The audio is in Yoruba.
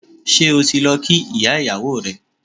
Ṣé o ti lọ kí ìyá ìyàwó rẹ?